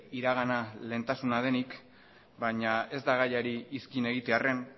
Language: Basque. iragana lehentasuna denik baina ez da gaiari iskin egitearren